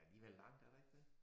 Der alligevel langt er der ikke det?